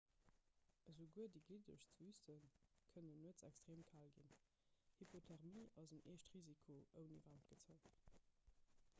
esouguer déi gliddegst wüste kënnen nuets extreem kal ginn hypothermie ass en echt risiko ouni waarmt gezei